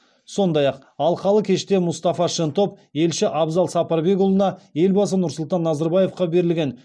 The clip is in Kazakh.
сондай ақ алқалы кеште мұстафа шентоп елші абзал сапарбекұлына елбасы нұрсұлтан назарбаевқа берілген